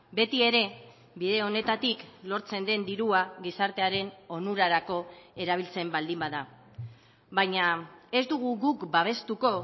beti ere bide honetatik lortzen den dirua gizartearen onurarako erabiltzen baldin bada baina ez dugu guk babestuko